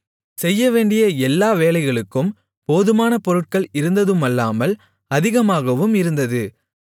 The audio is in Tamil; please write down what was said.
செய்யவேண்டிய எல்லா வேலைகளுக்கும் போதுமான பொருள்கள் இருந்ததுமல்லாமல் அதிகமாகவும் இருந்தது